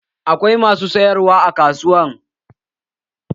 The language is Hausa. Akwai masu sayarwa a kasuwa